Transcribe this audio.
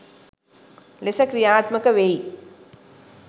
ලෙස ක්‍රියාත්මක වෙයි.